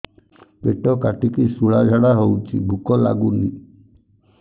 ପେଟ କାଟିକି ଶୂଳା ଝାଡ଼ା ହଉଚି ଭୁକ ଲାଗୁନି